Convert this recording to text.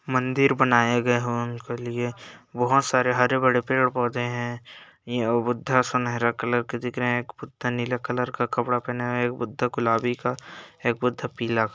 मंदिर बनाया गया है| उनके लिए बहोत सारे हरे भरे पेड़ पौधे हैं| यह बुद्धा सुनेहरा कलर का दिख रहे हैं| एक बुद्धा नीले कलर का कपड़ा पहना है| एक बुद्धा गुलाबी का एक बुद्धा पीला--